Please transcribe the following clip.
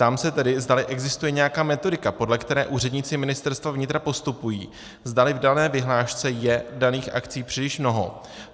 Ptám se tedy, zdali existuje nějaká metodika, podle které úředníci Ministerstva vnitra postupují, zdali v dané vyhlášce je daných akcí příliš mnoho.